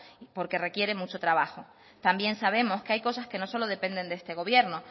porque requiere mucho trabajo también sabemos que hay cosas que no solo dependen de este gobierno